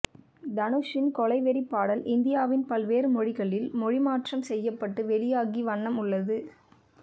தனுஷின் கொலவெறி பாடல் இந்தியாவின் பல்வேறு மொழிகளில் மொழிமாற்றம் செய்யப்பட்டு வெளியாகிய வண்ணம் உள்ளது